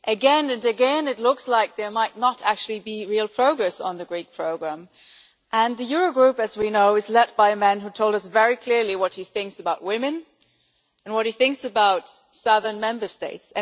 Again and again it looks like there might not actually be real progress on the Greek programme and the Eurogroup, as we know, is led by a man who told us very clearly what he thinks about women and what he thinks about southern Member States.